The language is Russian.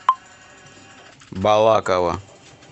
балаково